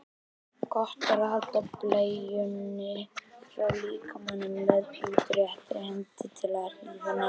Gott er að halda bleiunni frá líkamanum með útréttri hendi til að hlífa nefinu.